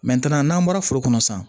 n'an bɔra foro kɔnɔ sisan